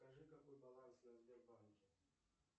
скажи какой баланс на сбербанке